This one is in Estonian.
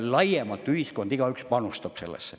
–, et laiemalt ühiskonnas igaüks panustab sellesse.